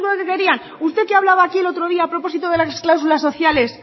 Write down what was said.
único que querían usted que hablaba aquí el otro día a propósito de las cláusulas sociales